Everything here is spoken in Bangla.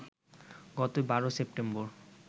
গত ১২ সেপ্টেম্বর